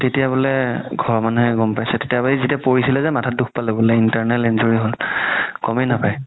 তেতিয়া বুলে ঘৰৰ মানুহে গ'ম পাইছে তেতিয়াৰ পাই যেতিয়া পৰিছিলে যে মাথাত দুখ পালে বুলে internal injury হ'ল গ'মে নাপাই